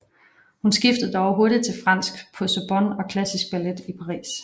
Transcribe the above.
Hun skiftede dog hurtigt til fransk på Sorbonne og klassisk ballet i Paris